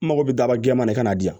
N mago bɛ daba jɛman de ka na di yan